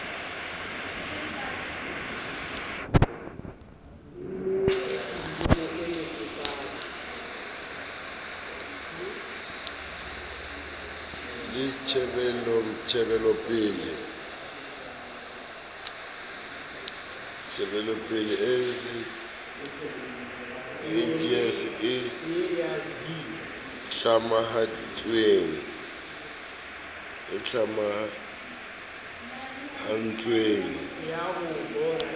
le tjhebelopele cjs e tlamahantsweng